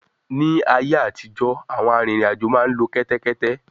Ní ayé àtijọ́, àwọn arìnrìn-àjò máa ń lo kẹ́tẹ́kétẹ́